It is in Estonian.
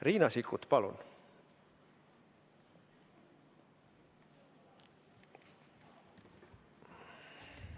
Riina Sikkut, palun!